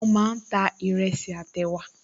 Wọ́n máa ń ta ìrẹsì àti ẹ̀wà